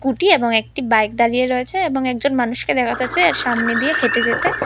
কুটি এবং একটি বাইক দাঁড়িয়ে রয়েছে এবং একজন মানুষকে দেখা যাচ্ছে এর সামনে দিয়ে হেঁটে যেতে।